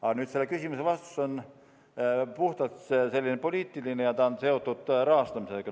Aga selle küsimuse vastus on puhtalt poliitiline ja see on seotud rahastamisega.